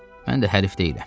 Mən də hərif deyiləm.